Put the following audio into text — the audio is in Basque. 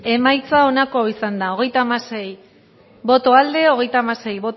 bozketaren emaitza onako izan da hirurogeita hamabi eman dugu bozka hogeita hamasei boto aldekoa treinta y seis